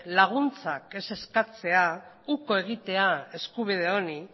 laguntzak ez eskatzea uko egitea eskubide honi